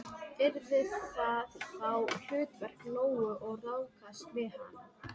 Yrði það þá hlutverk Lóu að ráðskast með hana?